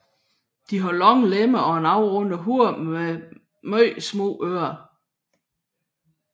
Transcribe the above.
De har lange lemmer og et afrundet hoved med meget små ører